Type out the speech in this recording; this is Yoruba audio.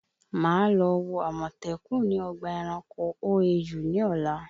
Màá lọ wo àmọ̀tẹ́kùn ni ọgbà ẹranko OAU ní ọ̀la